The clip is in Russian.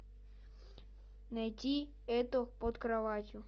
найти это под кроватью